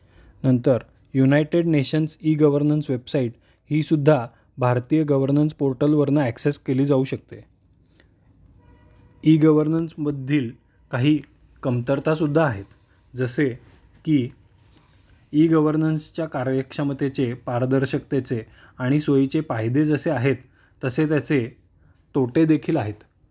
नंतर United Nations e governance website हि सुद्धा भारतीय गव्हर्नन्स पोर्टल वरनं ऍक्सेस केली जाऊ शकते. ई-गव्हर्नन्स मधील काही कमतरता सुद्धा आहेत. जसे कि ई-गव्हर्नन्स च्या कार्यक्षमतेचे, पारदर्शकतेचे आणि सोईचे फायदे जसे आहेत तसेच याचे तोटे देखील आहेत.